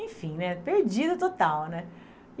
Enfim, né, perdida total, né?